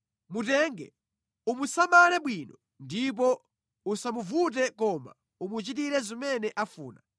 “Mutenge, umusamale bwino, ndipo usamuvute koma umuchitire zimene afuna.”